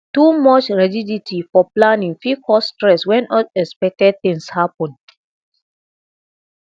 too much rigidity for planning fit cause stress when unexpected things happen